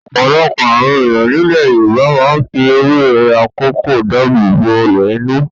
Ọ̀pọ̀lọpọ̀ àwọn ènìyàn nílẹ̀ Yorùbá máa ń fi ewé akòko dáàbò bo ọlẹ̀ inú.